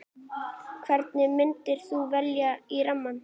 Hvern myndir þú velja í rammann?